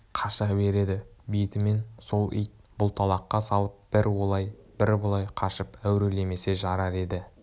қаша береді бетімен сол ит бұлталаққа салып бір олай бір бұлай қашып әурелемесе жарар еді